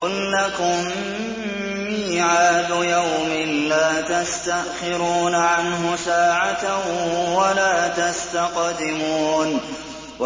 قُل لَّكُم مِّيعَادُ يَوْمٍ لَّا تَسْتَأْخِرُونَ عَنْهُ سَاعَةً وَلَا تَسْتَقْدِمُونَ